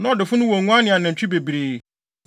Na ɔdefo no wɔ nguan ne anantwi bebree,